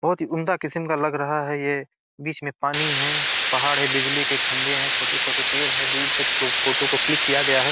बहुत ही उम्दा किस्म का लग रहा है ये बीच में पानी है पहाड़ है बिजली के खंबे हैं छोटे-छोटे पेड़ हैं दूर से प्रो फोटो को क्लिक किया गया है।